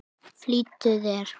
Flýttu þér!